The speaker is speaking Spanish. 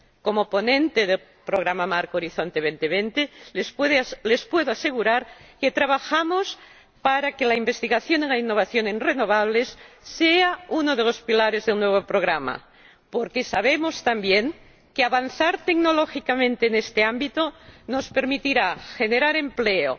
Como ponente del Programa Marco Horizonte 2020 les puedo asegurar que trabajamos para que la investigación en la innovación en renovables sea uno de los pilares del nuevo programa, porque sabemos, también, que avanzar tecnológicamente en este ámbito nos permitirá generar empleo,